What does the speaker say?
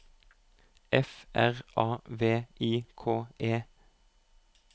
F R A V I K E